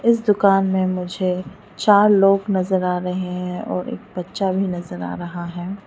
इस दुकान में मुझे चार लोग नजर आ रहे हैं और एक बच्चा भी नजर आ रहा है।